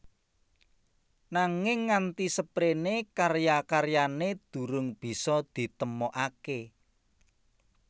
Nanging nganti seprene karya karyane durung bisa ditemokake